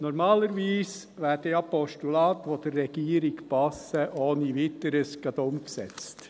Normalerweise werden Postulate, die der Regierung passen, ja ohne weiteres umgesetzt.